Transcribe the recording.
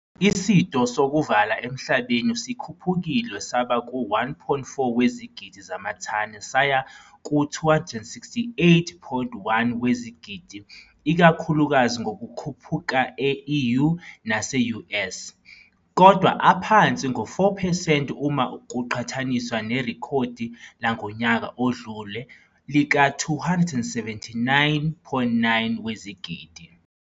Isito sokuvala emhlabeni sikhuphukile saba ku-1,4 wezigidi zamathani saya ku268.1 wezigidi ikakhulukazi ngokukhuphuka e-EU nase-U. S. kodwa aphansi ngo-4 percent uma kuqhathaniswa nerekhodi langonyaka odlule lika279,9 wezigidi.